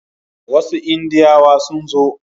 Wasu Indiyawa sun zo.